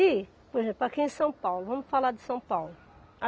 E, por exemplo, aqui em São Paulo, vamos falar de São Paulo.